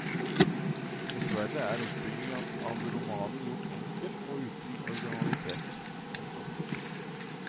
Dessverre er oppbyggingen av romanen gjort enkel og uten originalitet. punktum